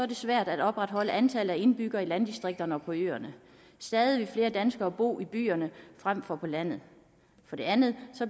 det svært at opretholde antallet af indbyggere i landdistrikterne og på øerne stadig flere danskere vil bo i byerne frem for på landet for det andet